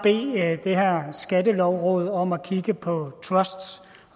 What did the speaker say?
at bede skattelovrådet om at kigge på truster